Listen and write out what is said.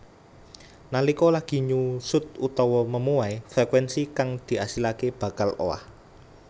Nalika lagi nyusut utawa memuai frekuénsi kang diasilaké bakal owah